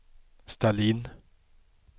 ställ in